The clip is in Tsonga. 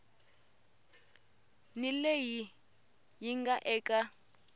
ni leyi yi nga eka